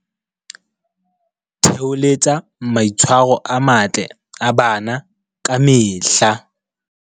Theholetsa maitshwa ro a matle a bana ka mehla